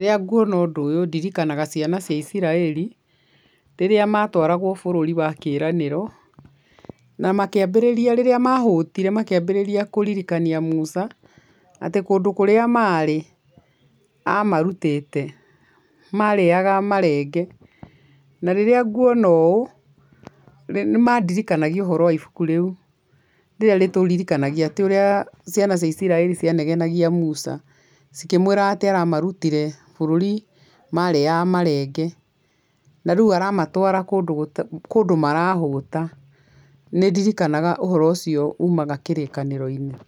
Rĩrĩa nguona ũndũ ũyũ ndirikanaga ciana cia iciraĩri rĩrĩa matwaragwo bũrũri wa kĩĩranĩro, na makĩmbĩrĩria, rĩrĩa mahũtire makĩambĩrĩria kũririkania Musa atĩ kũndũ kũrĩa maarĩ amarutĩte marĩaga marenge, na rĩrĩa nguona ũũ , nĩ mandirikangaia ũhoro wa ibuku rĩu, rĩrĩa rĩtũririkanagia atĩ ũrĩa ciana cia iciraĩri cianegenagia Musa cikĩmwiraga amarutire bũrũri marĩyaga marenge, na rĩu aramatwara kũndũ marahũta, nĩ ndirikanaga ũhoro ũcio umaga kĩrĩkaĩro-inĩ.